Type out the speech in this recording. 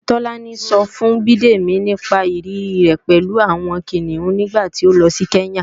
Tọ́lání ńsọ fún Bidemi nípa ìrírí rẹ̀ pẹ̀lú àwọn Kìnìún nígbàtí ó lọ sí Kenya